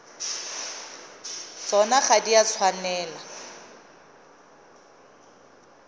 tsona ga di a tshwanela